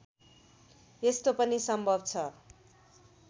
यस्तो पनि सम्भव छ